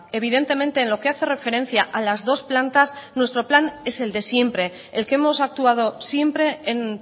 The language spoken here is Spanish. evidentemente en lo que hace referencia a las dos plantas nuestro plan es el de siempre el que hemos actuado siempre en